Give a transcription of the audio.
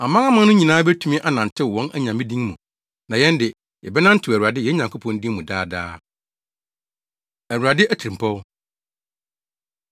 Amanaman no nyinaa betumi anantew wɔn anyame din mu, na yɛn de, yɛbɛnantew Awurade, yɛn Nyankopɔn Din mu daa daa. Awurade Atirimpɔw